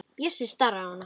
Bjössi starir á hana.